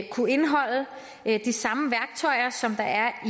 kunne indeholde de samme værktøjer som der er